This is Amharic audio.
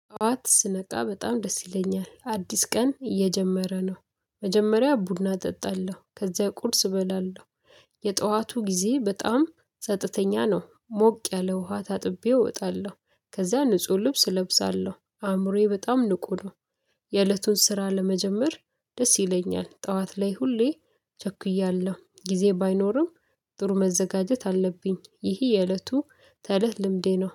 ጠዋት ስነቃ በጣም ደስ ይለኛል አዲስ ቀን እየጀመረ ነው መጀመሪያ ቡና እጠጣለሁ ከዚያ ቁርስ እበላለሁ። የጠዋቱ ጊዜ በጣም ጸጥተኛ ነው። ሞቅ ባለ ውሃ ታጥቤ እወጣለሁ ከዛ ንጹህ ልብስ እለብሳለሁ አእምሮዬ በጣም ንቁ ነው። የእለቱን ስራ ለመጀመር ደስ ይለኛል። ጠዋት ላይ ሁሌ ቸኩያለሁ ጊዜ ባይኖርም ጥሩ መዘጋጀት አለብኝ። ይህ የእለት ተእለት ልምዴ ነው